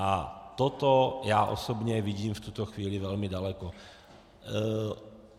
A toto já osobně vidím v tuto chvíli velmi daleko.